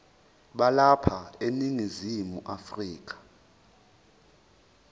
balapha eningizimu afrika